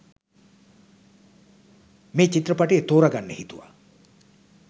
මේ චිත්‍රපටය තෝරගන්න හිතුවා